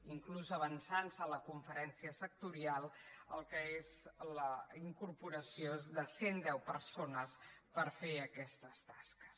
inclús avançant se a la conferència sectorial el que és la incorporació de cent deu persones per fer aquestes tasques